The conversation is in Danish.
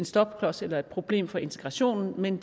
stopklods eller et problem for integrationen men